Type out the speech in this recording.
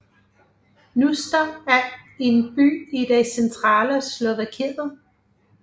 Hnúšťa er en by i det centrale Slovakiet